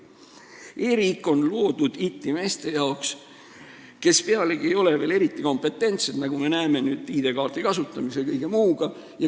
E-riik on loodud itimeeste jaoks, kes pealegi ei ole veel eriti kompetentsed, nagu me näeme nüüd ID-kaardi kasutamise ja kõige muuga seoses.